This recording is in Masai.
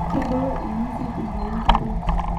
Kebulu inazii tenkalo nkariak